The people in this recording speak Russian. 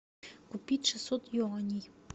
купить шестьсот юаней